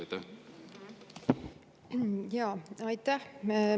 Aitäh!